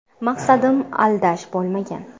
Maqsadim aldash bo‘lmagan.